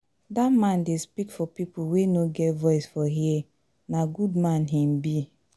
Dat man dey speak for pipo wey no get voice for here, na good man im be.